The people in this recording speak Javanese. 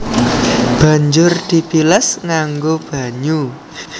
Banjur dibilas nganggo banyu